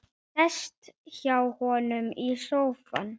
Sest hjá honum í sófann.